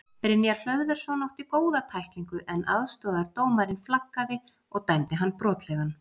Brynjar Hlöðversson átti góða tæklingu en aðstoðardómarinn flaggaði og dæmdi hann brotlegan.